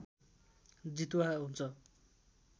जितुवा हुन्छ